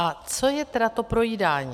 A co je tedy to projídání?